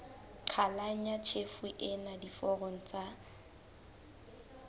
qhalanya tjhefo ena diforong tsa